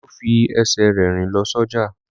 Olú fi ẹsẹ̀ rẹ̀ rìn lọ sọ́jà.